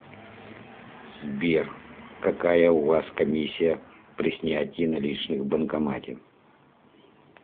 сбер какая у вас комиссия при снятии наличных в банкомате